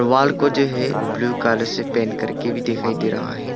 Wall को जो है ब्लू कलर से पेंट कर के भी दिखाई दे रहा है।